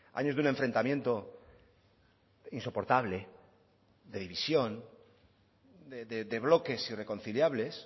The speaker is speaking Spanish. años de un enfrentamiento insoportable de división de bloques irreconciliables